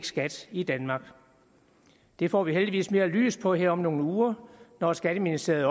skat i danmark det får vi heldigvis mere lys på her om nogle uger når skatteministeriet